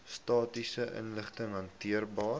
statistiese inligting gehaltebeheer